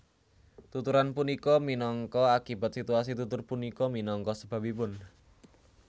Tuturan punika minangka akibat situasi tutur punika minangka sebabipun